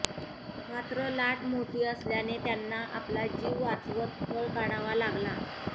मात्र लाट मोठी असल्याने त्यांना आपला जीव वाचवत पळ काढावा लागला